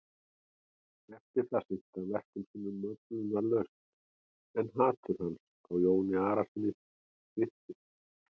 Eftir það sinnti hann verkum sínum möglunarlaust en hatur hans á Jóni Arasyni styrktist.